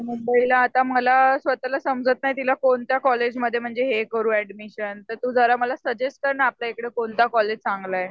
मुंबईला आता मला स्वतः समजत नाही तिला कोणत्या कॉलेजमध्ये म्हणजे हे करू ऍडमिशन तर तू जरा मला सजेस्ट कर ना आपल्याइकडे कोणतं कॉलेज चांगलं आहे?